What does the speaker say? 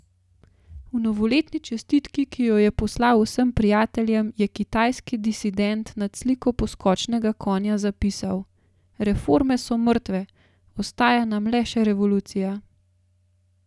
V novoletni čestitki, ki jo je poslal vsem prijateljem, je kitajski disident nad sliko poskočnega konja zapisal: 'Reforme so mrtve, ostaja nam le še revolucija!